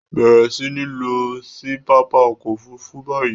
Bẹ̀rẹ̀ sí ní lọ sí pápá ọkọ̀-òfurufú báyìí!